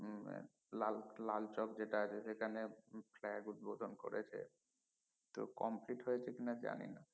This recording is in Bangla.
লাল লাল চক আগে যেখানে flag উদ্ভোধন করেছে তো complete হয়েছে কিনা জানি না